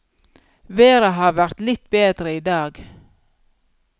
Været har vært litt bedre i dag.